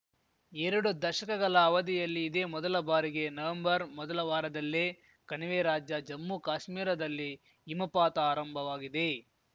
ಎರಡು ದಶಕಗಲ ಅವಧಿಯಲ್ಲಿ ಇದೇ ಮೊದಲ ಬಾರಿಗೆ ನವೆಂಬರ್‌ ಮೊದಲ ವಾರದಲ್ಲೇ ಕಣಿವೆ ರಾಜ್ಯ ಜಮ್ಮುಕಾಶ್ಮೀರದಲ್ಲಿ ಹಿಮಪಾತ ಆರಂಭವಾಗಿದೆ